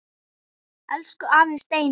Elsku afi Steini.